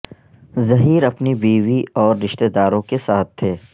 زہیر اپنی بیوی اور رشتہ داروں کے ساتھ تھے